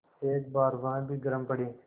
एक बार वह भी गरम पड़े